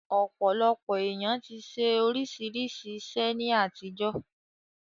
Ọ̀pọ̀lọpọ̀ èèyàn ti ṣe oríṣiríṣi iṣẹ́ ní àtijọ́